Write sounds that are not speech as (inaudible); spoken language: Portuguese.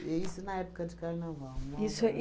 E isso na época de carnaval. (unintelligible) Isso aí